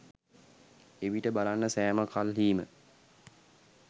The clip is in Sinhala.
එවිට බලන්න සෑම කල්හීම